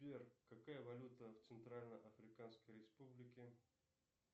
сбер какая валюта в центральной африканской республике